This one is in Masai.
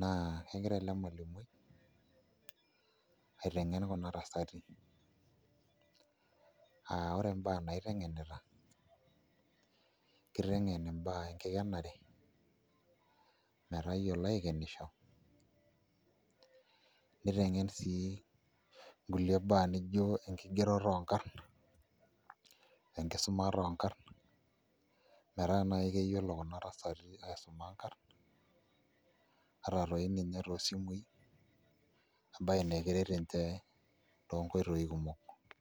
naa kegira ele malimui aiteng'en kuna tasati aa ore imbaa niteng'enita, kiteng'en imbaa enkikenare metayiolo aikenisho niteng'en sii kulie baa nijio enkigeroto oonkarn enkisumata oonkarn metaa naai keyiolo kuna tasati aisuma nkarn ata toi ninye toosimui embaye naa keret nince toonkoitoi kumok.